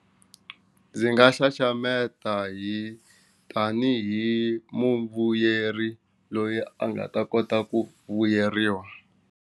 Ndzi nga xaxameta hi tanihi muvuyeri loyi a nga ta kota ku vuyeriwa.